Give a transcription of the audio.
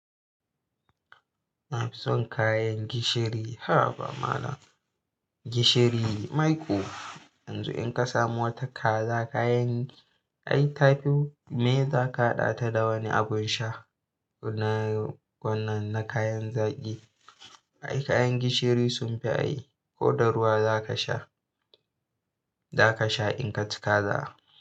Na fi son kayan gishiri. Haba malam, gishiri maiƙo. Yanzu in ka samu wata kaza, kayan ai ta fi mai za ka haɗa ta da wani abun sha kuna wannan na kayan zaƙi. Ai kayan gishiri sun fi ai. Ko da ruwa za ka sha, za ka sha in ka ci kaza.